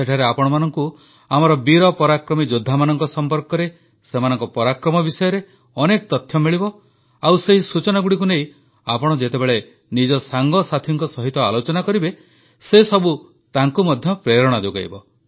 ସେଠାରେ ଆପଣମାନଙ୍କୁ ଆମର ବୀର ପରାକ୍ରମୀ ଯୋଦ୍ଧାମାନଙ୍କ ସମ୍ପର୍କରେ ସେମାନଙ୍କ ପରାକ୍ରମ ବିଷୟରେ ଅନେକ ତଥ୍ୟ ମିଳିବ ଆଉ ସେହି ସୂଚନାଗୁଡ଼ିକୁ ନେଇ ଆପଣ ଯେତେବେଳେ ନିଜ ସାଙ୍ଗସାଥୀଙ୍କ ସହିତ ଆଲୋଚନା କରିବେ ସେସବୁ ତାଙ୍କୁ ମଧ୍ୟ ପ୍ରେରଣା ଯୋଗାଇବ